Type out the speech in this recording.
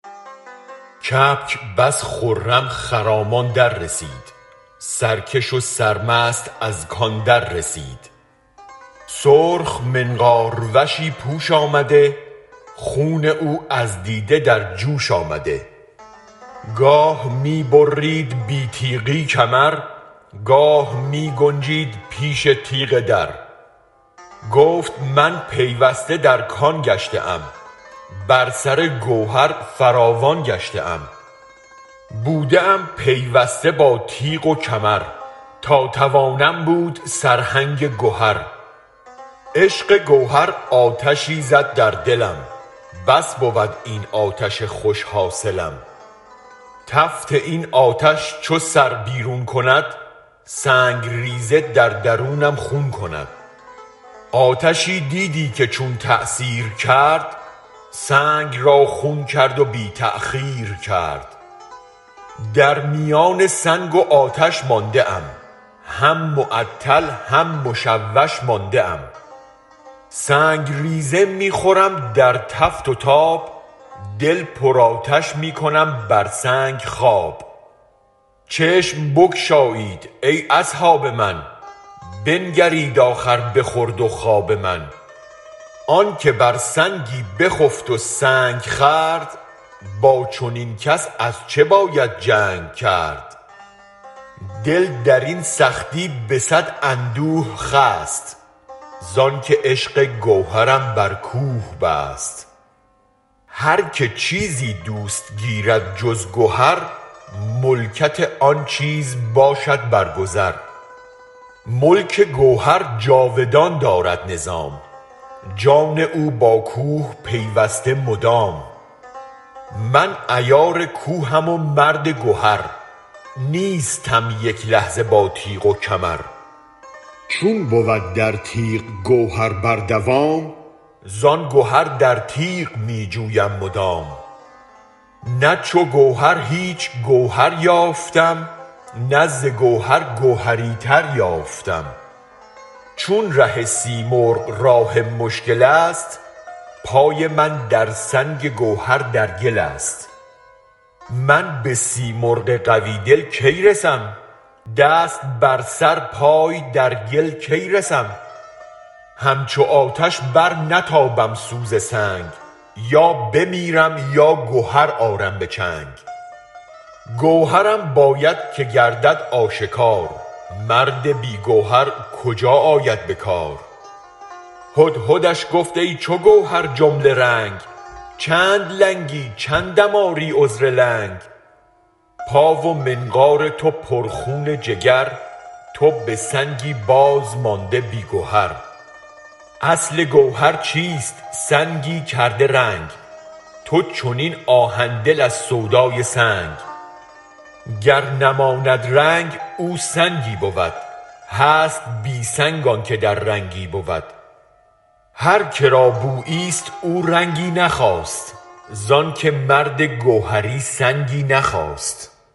کبک بس خرم خرامان در رسید سرکش و سرمست از کان در رسید سرخ منقار وشی پوش آمده خون او از دیده در جوش آمده گاه می برید بی تیغی کمر گاه می گنجید پیش تیغ در گفت من پیوسته در کان گشته ام بر سر گوهر فراوان گشته ام بوده ام پیوسته با تیغ و کمر تا توانم بود سرهنگ گهر عشق گوهر آتشی زد در دلم بس بود این آتش خوش حاصلم تفت این آتش چو سر بیرون کند سنگ ریزه در درونم خون کند آتشی دیدی که چون تأثیر کرد سنگ را خون کرد و بی تأخیر کرد در میان سنگ و آتش مانده ام هم معطل هم مشوش مانده ام سنگ ریزه می خورم در تف و تاب دل پر آتش می کنم بر سنگ خواب چشم بگشایید ای اصحاب من بنگرید آخر به خورد و خواب من آنک بر سنگی بخفت و سنگ خورد با چنین کس از چه باید جنگ کرد دل در این سختی به صد اندوه خست زآنک عشق گوهرم بر کوه بست هرک چیزی دوست گیرد جز گهر ملکت آن چیز باشد برگذر ملک گوهر جاودان دارد نظام جان او با کوه پیوسته مدام من عیار کوهم و مرد گهر نیستم یک لحظه با تیغ و کمر چون بود در تیغ گوهر بر دوام زآن گهر در تیغ می جویم مدام نه چو گوهر هیچ گوهر یافتم نه ز گوهر گوهری تر یافتم چون ره سیمرغ راه مشکل است پای من در سنگ گوهر در گل است من به سیمرغ قوی دل کی رسم دست بر سر پای در گل کی رسم همچو آتش برنتابم سوز سنگ یا بمیرم یا گهر آرم به چنگ گوهرم باید که گردد آشکار مرد بی گوهر کجا آید به کار هدهدش گفت ای چو گوهر جمله رنگ چند لنگی چندم آری عذر لنگ پا و منقار تو پر خون جگر تو به سنگی بازمانده بی گهر اصل گوهر چیست سنگی کرده رنگ تو چنین آهن دل از سودای سنگ گر نماند رنگ او سنگی بود هست بی سنگ آنک در رنگی بود هرک را بویی ست او رنگی نخواست زآنک مرد گوهری سنگی نخواست